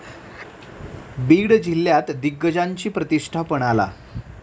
बीड जिल्ह्यात दिग्गजांची प्रतिष्ठा पणाला